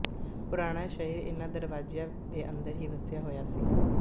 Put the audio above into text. ਪੁਰਾਣਾ ਸ਼ਹਿਰ ਇਨ੍ਹਾਂ ਦਰਵਾਜ਼ਿਆਂ ਦੇ ਅੰਦਰ ਹੀ ਵਸਿਆ ਹੋਇਆ ਸੀ